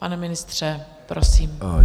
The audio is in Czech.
Pane ministře, prosím.